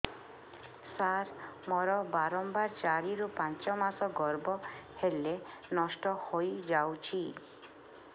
ସାର ମୋର ବାରମ୍ବାର ଚାରି ରୁ ପାଞ୍ଚ ମାସ ଗର୍ଭ ହେଲେ ନଷ୍ଟ ହଇଯାଉଛି